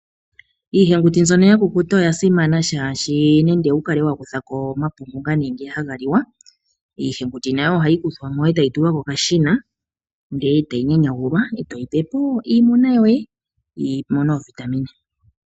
Iihenguti mbyono ya kukuta oya simana, shaashi nande owu kale wa kutha ko omapungu ngono haga liwa, iihenguti nayo ohayi kuthwa mo e tayi tulwa kokashina, ndele tayi nyanyagulwa e to yi pe po iimuna yoye, yi mone oovitamine.